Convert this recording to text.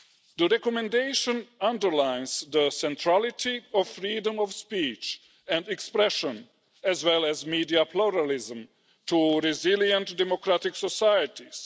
The recommendation underlines the centrality of freedom of speech and expression, as well as media pluralism, to resilient democratic societies.